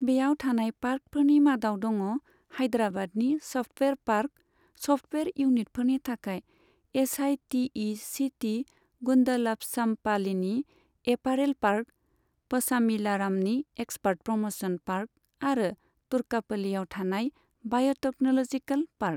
बेयाव थानाय पार्कफोरनि मादाव दङ हाइद्राबादनि सफ्टवेयार पार्क, सफ्टवेयार इउनिटफोरनि थाखाय H I T E C city, गुन्दलापचाम्पाल्लीनि एपारेल पार्क, पशामिलारामनि एक्सपार्ट प्रम'शन पार्क आरो तुर्कापल्लीयाव थानाय बाय'टेक्न'लजिकेल पार्क।